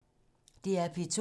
DR P2